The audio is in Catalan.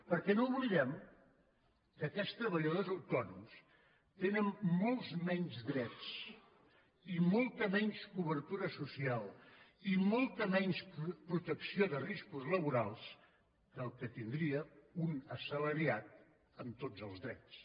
perquè no oblidem que aquests treballadors autònoms tenen molts menys drets i molta menys cobertura social i molta menys protecció de riscos laborals que els que tindria un assalariat amb tots els drets